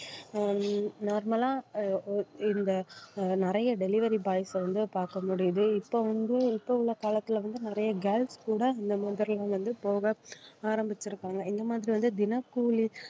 அஹ் normal லா அஹ் இந்த அஹ் நிறைய delivery boys அ வந்து பார்க்க முடியுது இப்போ வந்து இப்போ உள்ள காலத்துல வந்து, நிறைய girls கூட இந்த மாதிரிலாம் வந்து போக ஆரம்பிச்சிருக்காங்க இந்த மாதிரி வந்து தினக்கூலி